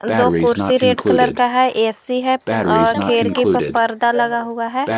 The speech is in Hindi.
दो कुर्सी रेड कलर का है ए_सी है और खिड़की पे पर्दा लगा हुआ है।